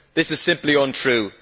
This is simply untrue.